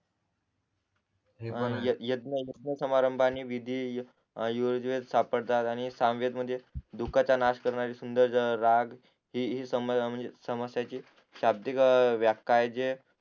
हे यज्ञे यज्ञेसमारंभा आणि विधी योजवेद सापडतात आणि सामवेद मध्ये दुःखाचा नाश करणारे सूंदर राग हि सम समस्याची शाब्दिक व्याख्या आहे जे